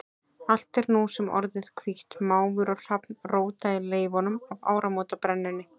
Allt er nú sem orðið hvítt, máfur og hrafn róta í leifunum af áramótabrennunni.